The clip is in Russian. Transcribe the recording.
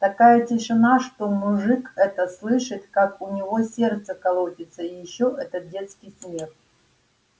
такая тишина что мужик этот слышит как у него сердце колотится и ещё этот детский смех